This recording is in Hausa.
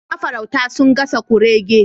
Mafarauta sun gasa kurege